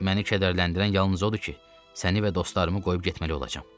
Məni kədərləndirən yalnız odur ki, səni və dostlarımı qoyub getməli olacam.